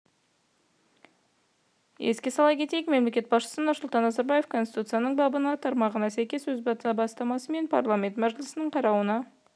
еске сала кетейік мемлекет басшысы нұрсұлтан назарбаев конституцияның бабының тармағына сәйкес өз бастамасымен парламент мәжілісінің қарауына